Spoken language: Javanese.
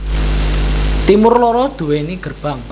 Timur loro duweni gerbang